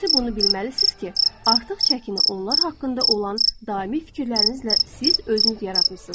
İkincisi bunu bilməlisiniz ki, artıq çəkini onlar haqqında olan daimi fikirlərinizlə siz özünüz yaratmısınız.